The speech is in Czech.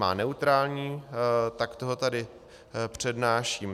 Má neutrální, tak ho tady přednáším.